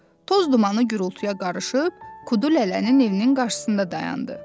toz dumanı gurultuya qarışıb Kudulələnin evinin qarşısında dayandı.